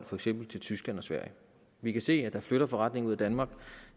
for eksempel tyskland og sverige vi kan se at der flytter forretninger ud af danmark